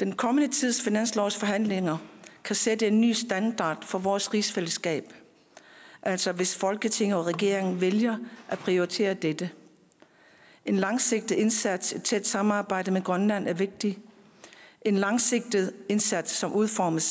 den kommende tids finanslovsforhandlinger kan sætte en ny standard for vores rigsfællesskab altså hvis folketinget og regeringen vælger at prioritere dette en langsigtet indsats i et tæt samarbejde med grønland er vigtig en langsigtet indsats som udformes